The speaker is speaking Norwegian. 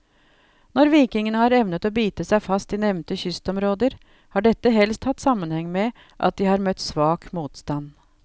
Når vikingene har evnet å bite seg fast i nevnte kystområder, har dette helst hatt sammenheng med at de har møtt svak motstand.